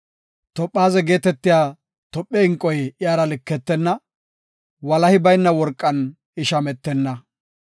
Toophaze geetetiya Tophe inqoy iyara liketenna; walahi bayna worqan I shametenna.